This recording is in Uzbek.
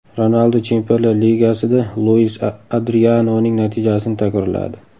Ronaldu Chempionlar Ligasida Luis Adrianoning natijasini takrorladi.